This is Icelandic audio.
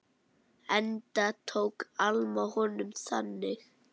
Enda tók Alma honum þannig.